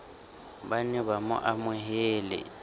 ba be ba mo amohele